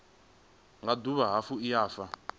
nga dovha hafhu ya fha